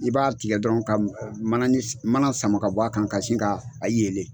I b'a tigɛ dɔrɔn ka manani mana sama ka bɔ a kan ka sin k'a a yelen